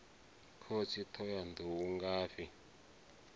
khosi thohoyanḓ ou u ngafhi